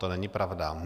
To není pravda.